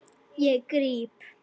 Ég gríp.